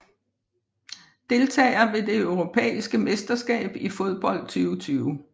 Deltagere ved det europæiske mesterskab i fodbold 2020